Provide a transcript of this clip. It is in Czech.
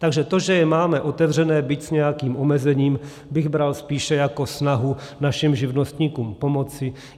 Takže to, že je máme otevřené, byť s nějakým omezením, bych bral spíše jako snahu našim živnostníkům pomoci.